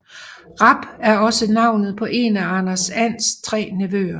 Rap er også navnet på en af Anders Ands tre nevøer